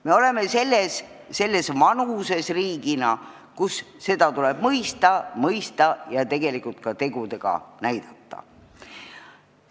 Me oleme riigina selles vanuses, kus seda tuleb mõista – mõista ja ka tegudega näidata.